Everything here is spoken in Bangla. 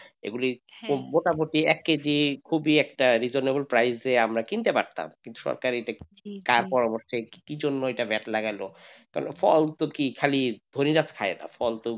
এগুলি এক কেজি খুবই একটা reasonable ‍price এ আমরা কিনতে পারতাম কিন্তু সরকার এটা কি অবস্থায় কি জন্য এটা vat লাগাল ফল তো কি খালি খাই না ফল তো.